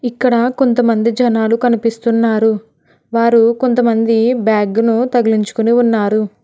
ఇక్కడ కొంతమంది జనాలు కనిపిస్తున్నారు వారు కొంతమంది బ్యాగ్ ను తగిలించుకుని ఉన్నారు.